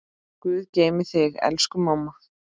Guð geymi þig, elsku mamma.